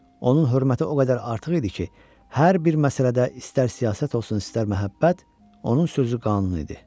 Onun hörməti o qədər artıq idi ki, hər bir məsələdə, istər siyasət olsun, istər məhəbbət, onun sözü qanun idi.